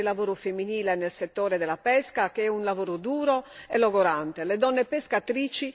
Abbiamo bisogno di fare emergere il lavoro femminile nel settore della pesca, che è un lavoro duro e logorante.